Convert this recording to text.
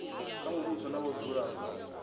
kha muvhuso na vhadzulapo sa